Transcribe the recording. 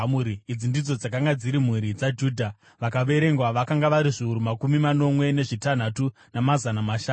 Idzi ndidzo dzakanga dziri mhuri dzaJudha; vakaverengwa vakanga vari zviuru makumi manomwe nezvitanhatu, namazana mashanu.